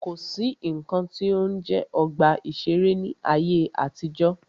Kò sí nnkan tí ó ń jẹ́ ọgbà ìṣẹ̀rẹ́ ní ayé àtijọ́.